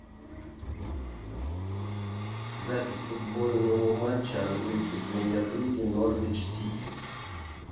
запись футбольного матча английской премьер лиги норвич сити